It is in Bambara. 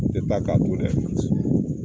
N te taa ka to dɛ